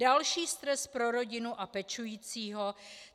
Další stres pro rodinu a pečujícího.